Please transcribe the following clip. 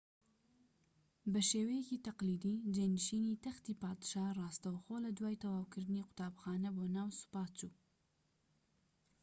بە شێوەیەکی تەقلیدی جێنشینی تەختی پادشا ڕاستەوخۆ لە دوای تەواوکردنی قوتابخانە بۆ ناو سوپا چوو